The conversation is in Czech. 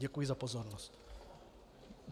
Děkuji za pozornost.